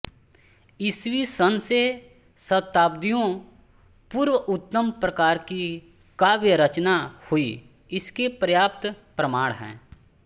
ईस्वी सन् से शताब्दियों पूर्व उत्तम प्रकार की काव्य रचना हुई इसके पर्याप्त प्रमाण है